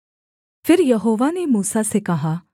फिर यहोवा ने मूसा से कहा